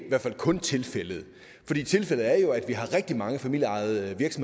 kun tilfældet at vi har rigtig mange familieejede